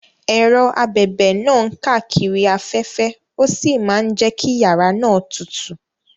Ẹ̀rọ abẹ̀bẹ̀ náà ń káàkiri afẹ́fẹ́ ó sì máa ń jẹ́ kí yàrá náà tutù.